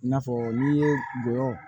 I n'a fɔ n'i ye gɔyɔ